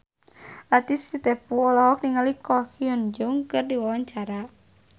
Latief Sitepu olohok ningali Ko Hyun Jung keur diwawancara